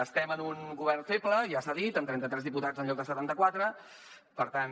estem en un govern feble ja s’ha dit amb trenta tres diputats en lloc de setanta quatre per tant